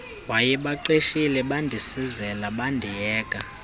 wayebaqeshile bandisizela bandiyeka